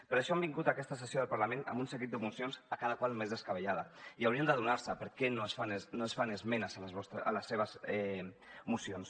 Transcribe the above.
per això han vingut a aquesta sessió del parlament amb un seguit de mocions a quina més descabellada i haurien d’adonar se per què no es fan esmenes a les seves mocions